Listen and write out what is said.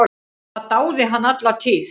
Það dáði hann alla tíð.